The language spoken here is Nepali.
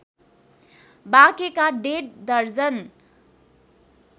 बाँकेका डेढ दर्जन